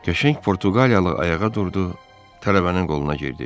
Qəşəng Portuqaliyalı ayağa durdu, tələbənin qoluna girdi.